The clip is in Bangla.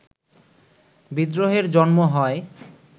বিদ্রোহের জন্ম হয়